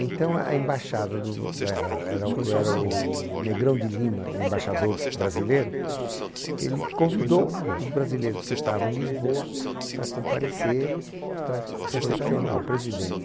Então a embaixada do do a era o era o Negrão de Lima, o embaixador brasileiro, ele convidou os brasileiros que estavam em Lisboa para comparecer, para re recepcionar o presidente.